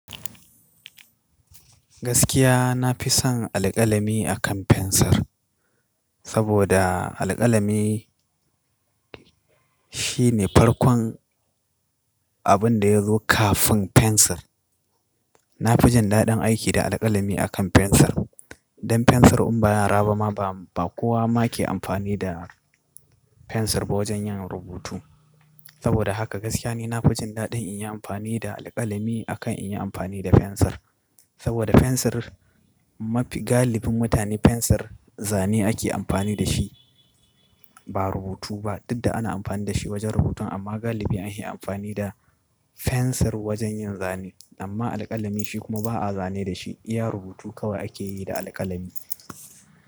Gaskiya na fi son alƙalami akan fensir, saboda alƙalami shi ne farkon abin da ya zo kafin fensir. Na fi jin daɗin aiki da alƙalami akan fensir. Dan fensir in ba yara ba ma ba kowa ma ke amfani da fensir ba wajen yin rubutu. Saboda haka gaskiya ni na fi jin daɗin in yi amfani da alƙalami akan in yi amfani da fensir. Saboda fensir mafi galibin mutane fensir zane ake amfani da shi ba rubutu ba, duk da ana amfani da shi wajen rubutun amma galibi an hi amfani da fensir wajen yin zane. Amma alƙalami shi kuma ba a zane da shi, iya rubutu kawai ake yi da alƙalami.